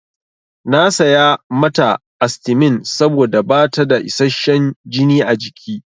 Na saya mata astimin saboda bata da isasshen jini a jiki.